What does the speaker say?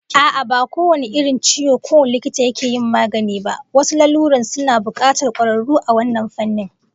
A'a, ba kowane irin ciwo kowane likita yake yin maganin ba, wasu lalurorin suna bukatar kwararru a wannan fannin